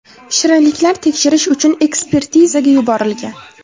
Shirinliklar tekshirish uchun ekspertizaga yuborilgan.